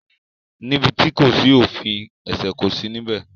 Níbi tí kò sí òfin ẹ̀ṣẹ̀ kò sí níbẹ̀.